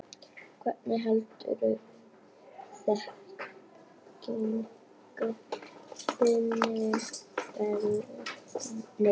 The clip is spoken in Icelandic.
Hvernig heldurðu þekkingu þinni við?